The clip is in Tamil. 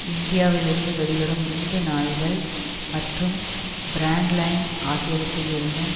இந்தியாவிலிருந்து வெளிவரும் இந்து நாளிதழ் மற்றும் பிரண்ட் லைன் ஆகியவற்றிலிருந்தும்